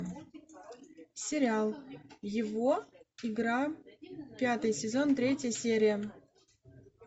сериал его игра пятый сезон третья серия